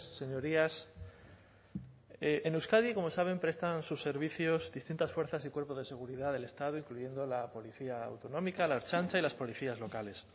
señorías en euskadi como saben prestan sus servicios distintas fuerzas y cuerpos de seguridad del estado incluyendo la policía autonómica la ertzaintza y las policías locales